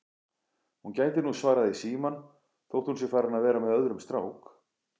Hún gæti nú svarað í símann þótt hún sé farin að vera með öðrum strák